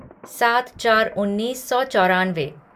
सात चार उन्नीस सौ चौरानवे